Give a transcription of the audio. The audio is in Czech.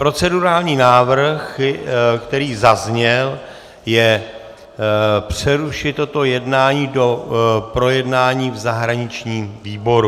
Procedurální návrh, který zazněl, je přerušit toto jednání do projednání v zahraničním výboru.